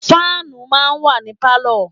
Fáànù máa ń wà ní Pálọ̀.